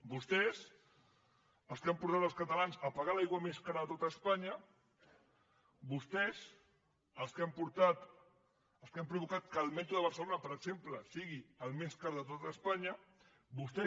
vostès els que han portat els catalans a pagar l’aigua més cara de tot espanya vostès els que han provocat que el metro de barcelona per exemple sigui el més car de tot espanya vostès